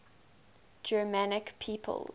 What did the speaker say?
germanic peoples